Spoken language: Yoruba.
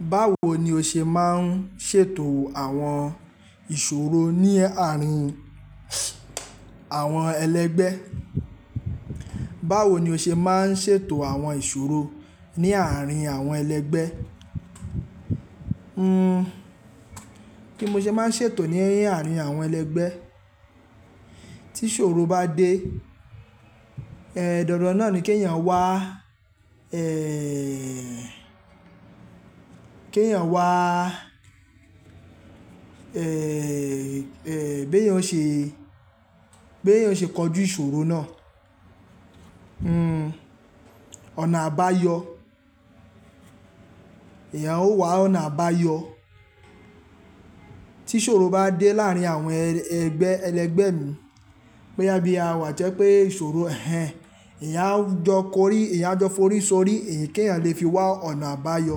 Báwo ni o ṣe máa ń ṣètò àwọn ìṣòro ní àárín àwọn ẹlẹgbẹ́? Báwo ni o ṣe máa ń ṣètò àwọn ìṣòro ní àárín àwọn ẹlẹgbẹ́? Hmm, kí mo ṣe máa ń ṣètò ní àárín àwọn ẹlẹgbẹ́. Tí ìṣòro bá dé, ẹ dan dan náà ni kí ẹ̀yàn wá, ẹ, kí ẹ̀yàn wá, ẹ, bí èèyàn ṣe, bí èèyàn oṣe kọjú ìṣòro náà. Hmm, ọ̀nà àbáyọ, èèyàn ó wá ọ̀nà àbáyọ. Tí ìṣòro bá dé láàárín àwọn ẹgbẹ́, ẹlẹgbẹ́ mi, bóyá bí a wà to jẹ́ pé ìṣòro hẹ́n, èèyàn à jọ kọrí, èèyàn a jọ forí ṣorí kí èèyàn lè fi wá ọ̀nà àbáyọ.